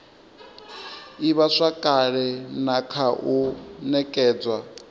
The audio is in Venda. ivhazwakale na kha u nekedzwa